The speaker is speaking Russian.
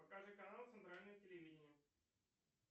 покажи канал центральное телевидение